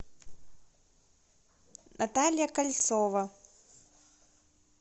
наталья кольцова